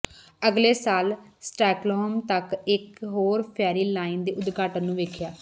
ਅਗਲੇ ਸਾਲ ਸ੍ਟਾਕਹੋਲ੍ਮ ਤੱਕ ਇਕ ਹੋਰ ਫੈਰੀ ਲਾਈਨ ਦੇ ਉਦਘਾਟਨ ਨੂੰ ਵੇਖਿਆ